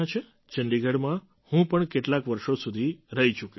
ચંડીગઢમાં હું પણ કેટલાંક વર્ષો સુધી રહી ચૂક્યો છું